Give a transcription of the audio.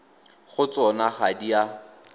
go tsona ga di a